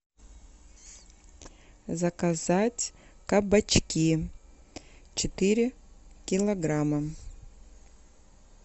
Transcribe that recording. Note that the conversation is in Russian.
заказать кабачки четыре килограмма